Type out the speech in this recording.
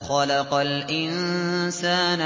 خَلَقَ الْإِنسَانَ